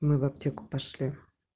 мы в аптеку пошли